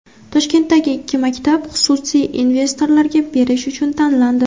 Toshkentdagi ikki maktab xususiy investorlarga berish uchun tanlandi.